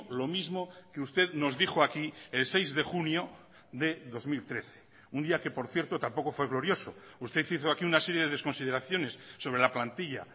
lo mismo que usted nos dijo aquí el seis de junio de dos mil trece un día que por cierto tampoco fue glorioso usted hizo aquí una serie de desconsideraciones sobre la plantilla